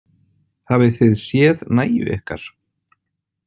Hafið þið séð nægju ykkar?